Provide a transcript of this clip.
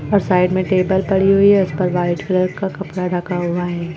और साइड में टेबल पड़ी हुई है। इसपे वाइट कलर का कपड़ा रखा हुआ है।